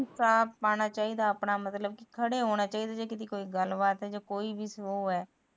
ਵਿਚਾਰ ਪਾਣਾ ਚਾਹੀਦਾ ਮਤਲਬ ਕੋਈ ਵੀ ਗੱਲ ਹੁੰਦੀ ਖੜੇ ਹੋਣਾ ਚਾਹੀਦਾ